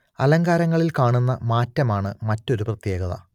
അലങ്കാരങ്ങളിൽ കാണുന്ന മാറ്റമാണ് മറ്റൊരു പ്രത്യേകത